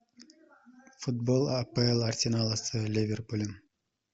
футбол апл арсенала с ливерпулем